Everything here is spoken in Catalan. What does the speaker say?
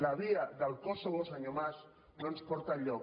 la via del kosovo senyor mas no ens porta enlloc